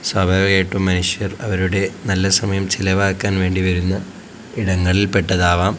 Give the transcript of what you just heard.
സ്വാഭാവികമായിട്ടും മനുഷ്യർ അവരുടെ നല്ല സമയം ചിലവാക്കാൻ വേണ്ടി വരുന്ന ഇടങ്ങളിൽ പെട്ടതാവാം.